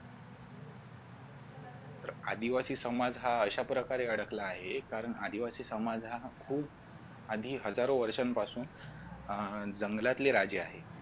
आदिवासी समाज हा अशा प्रकारे अडकला आहे कारण आदिवासी समाज हा खूप आधी हजारो वर्षांपासून अह जंगलातले राजे आहे.